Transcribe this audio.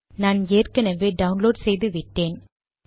நான் ஏற்கனவே டவுன்லோட் செய்து விட்டேன்